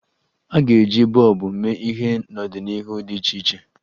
A ga-eji bọlbụ mee ihe n'ọdịnihu dị iche iche.